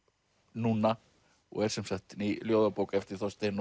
núna og er sem sagt ný ljóðabók eftir Þorstein